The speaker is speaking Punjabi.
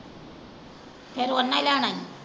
ਫੇਰ ਓਹਨਾ ਈ ਲੈਣਾ ਈ।